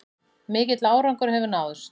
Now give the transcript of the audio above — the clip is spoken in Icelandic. Mikill árangur hefur náðst